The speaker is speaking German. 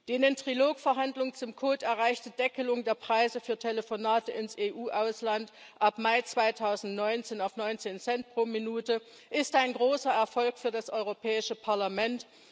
Die in den Trilog Verhandlungen zum Kodex erreichte Deckelung der Preise für Telefonate ins EU Ausland ab Mai 2019 auf 19 Cent pro Minute ist ein großer Erfolg für das Europäische Parlament.